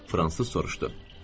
Fransız soruşdu.